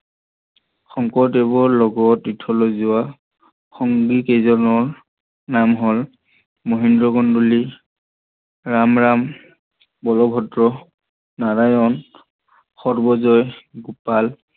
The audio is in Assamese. শংকৰদেৱৰ লগত তীৰ্থলৈ যোৱা সংগী কেইজনৰ নাম হল মহেন্দ কন্দলী, ৰামৰাম, বল্ভদ্ৰ, নাৰায়ন, সৰ্বজয়, গোপাল